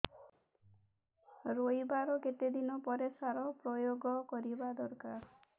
ରୋଈବା ର କେତେ ଦିନ ପରେ ସାର ପ୍ରୋୟାଗ କରିବା ଦରକାର